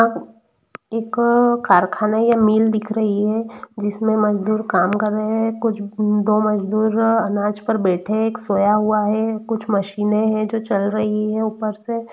इक कारखाना या मील दिख रही है जिस मैं मजदूर काम कर रहे हैकुछ दो मजदूर अनाज पर बेठे हुए है एक सोया हुआ है कुछ मशीनें है जो चल रही है उपर से।